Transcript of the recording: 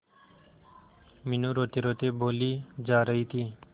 मीनू रोतेरोते बोली जा रही थी